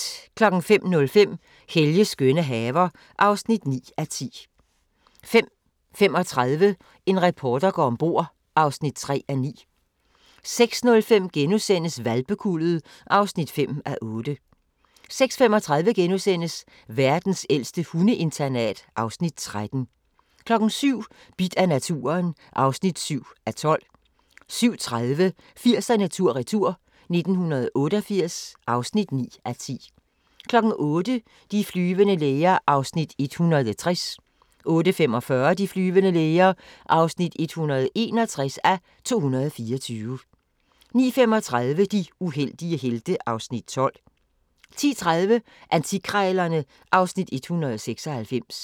05:05: Helges skønne haver (9:10) 05:35: En reporter går om bord (3:9) 06:05: Hvalpekuldet (5:8)* 06:35: Verdens ældste hundeinternat (Afs. 13)* 07:00: Bidt af naturen (7:12) 07:30: 80'erne tur-retur: 1988 (9:10) 08:00: De flyvende læger (160:224) 08:45: De flyvende læger (161:224) 09:35: De uheldige helte (Afs. 12) 10:30: Antikkrejlerne (Afs. 196)